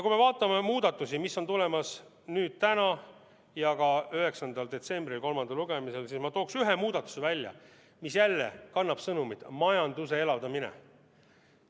Kui me vaatame muudatusi, mis on tulemas hääletusele täna ja ka 9. detsembril, kolmandal lugemisel, siis ma toon esile ühe muudatuse, mis jälle kannab majanduse elavdamise sõnumit.